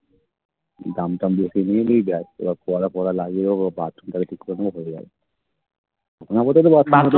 দাম টাম দিয়ে কিনিয়ে নিয়ে যায় পরা পরা লাগে ওগো Bathroom তারে ঠিক করে নিয়ে চলে যায়